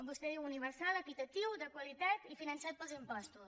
vostè diu universal equitatiu de qualitat i finançat pels impostos